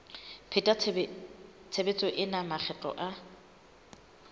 pheta tshebetso ena makgetlo a